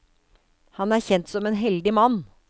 Han er kjent som en heldig mann.